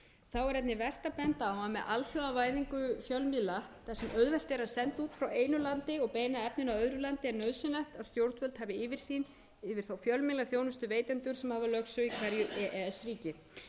þá er einnig vert að benda á að með alþjóðavæðingu fjölmiðla þar sem auðvelt er að senda út frá einu landi og beina efninu að öðru landi er nauðsynlegt að stjórnvöld hafi yfirsýn yfir þá fjölmiðlaþjónustuveitendur sem hafa lögsögu í hverju e e s ríki